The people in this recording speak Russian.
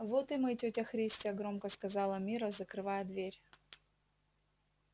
вот и мы тётя христя громко сказала мирра закрывая дверь